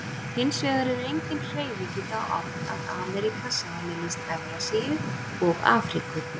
Hins vegar er engin hreyfing í þá átt að Ameríka sameinist Evrasíu og Afríku.